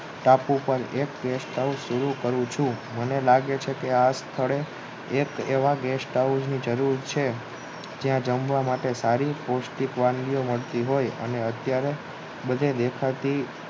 ટાપુ પાર એક ગેસ્ટ હાવુશ સુરુ કરું છું મને લાગે છે કે આ સ્થળે એક એવા ગેસ્ટ હાવુશની જરૂર છે જ્યાં જમવા માટે સારું પૌષ્ટિક વાનગીઓ મળતી હોય અને અત્યરે બધે દેખાતી